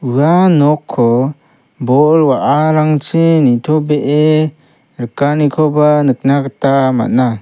ua nokko bol wa·arangchi nitobee rikanikoba nikna gita man·a.